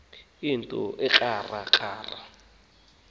yinto ekrakra amathumbu